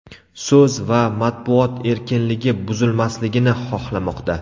so‘z va matbuot erkinligi buzilmasligini xohlamoqda.